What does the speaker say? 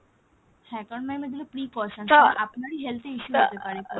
হ্যাঁ কারন ma'am এগুলো precaution আপনারই health এ issue হতে পারে পরে।